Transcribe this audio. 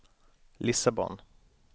Lissabon